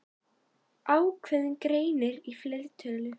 Ákveðinn greinir í fleirtölu.